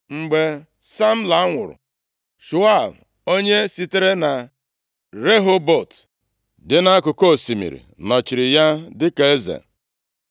Mgbe Samla nwụrụ, Shaul onye sitere na Rehobọt dị nʼakụkụ osimiri + 1:48 Eleghị anya ọ bụ osimiri Yufretis nọchiri ya dịka eze.